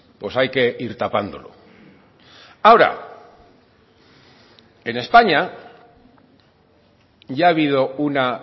pues hay que ir tapándolo ahora en españa ya ha habido una